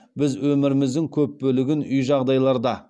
біз өміріміздің көп бөлігін үй жағдайларда